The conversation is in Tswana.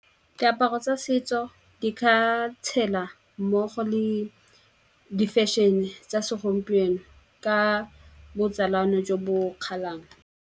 Diaparo tsa setso di ka tshela mmogo le di-fashion-e tsa segompieno ka botsalano jo bo .